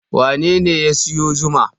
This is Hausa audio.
Wane ne ya sayo zuma?